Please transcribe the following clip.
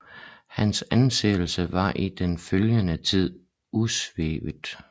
Hans anseelse var i den følgende tid usvækket